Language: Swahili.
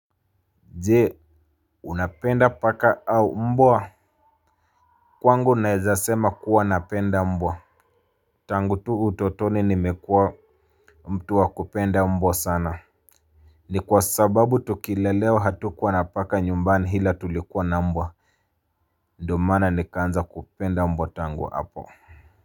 Je, unapenda paka au mbwa kwangu naweza sema kuwa napenda mbwa. Tangu tu utotoni nimekuwa mtu wa kupenda mbwa sana. Ni kwa sababu tukilelewa hatukuwa na paka nyumbani ila tulikuwa na mbwa. Ndiyo maana nikaanza kupenda mbwa tangu hapo.